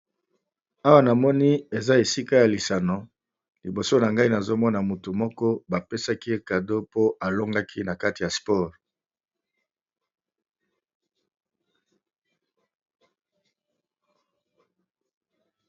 awa na moni eza esika ya lisano liboso na ngai nazomona motu moko bapesaki ye cadeo po alongaki na kati ya spore